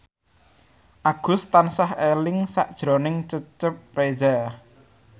Agus tansah eling sakjroning Cecep Reza